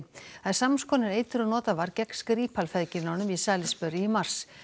samskonar eitri og notað var gegn Skripal feðginunum í Salisbury í mars